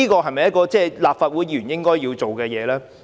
這是否立法會議員應要做的事呢？